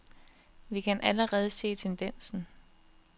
Vi kan allerede se tendensen.